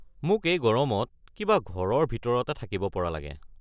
মোক এই গৰমত কিবা ঘৰৰ ভিতৰতে থাকিব পৰা লাগে।